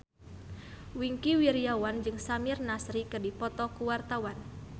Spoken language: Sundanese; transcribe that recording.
Wingky Wiryawan jeung Samir Nasri keur dipoto ku wartawan